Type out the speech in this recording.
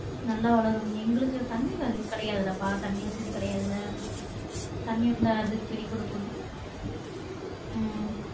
நல்லா வளரும் எங்களுக்கு தண்ணி கிடையாதுலாப்பா தண்ணி வசதி கிடையாதுல தண்ணி வந்தா வரதுக்கு பிடி குடுக்கணும் உம்